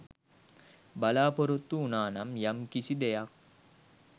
බලාපොරොත්තු උනානම් යම් කිසි දෙයක්.